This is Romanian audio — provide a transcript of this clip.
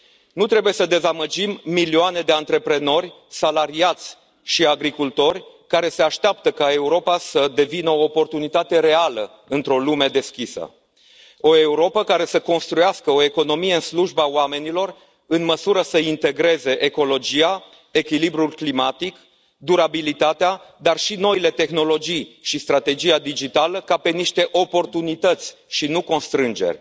Nu trebuie să dezamăgim milioane de antreprenori, salariați și agricultori, care se așteaptă ca Europa să devină o oportunitate reală într o lume deschisă, o Europă care să construiască o economie în slujba oamenilor, în măsură să integreze ecologia, echilibrul climatic, durabilitatea, dar și noile tehnologii și strategia digitală, ca pe niște oportunități și nu constrângeri.